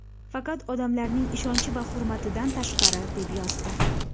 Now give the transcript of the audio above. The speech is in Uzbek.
Faqat odamlarning ishonchi va hurmatidan tashqari...”, deb yozdi .